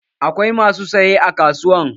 Akwai masu saye a kasuwa